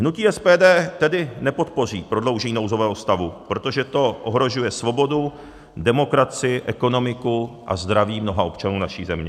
Hnutí SPD tedy nepodpoří prodloužení nouzového stavu, protože to ohrožuje svobodu, demokracii, ekonomiku a zdraví mnoha občanů naší země.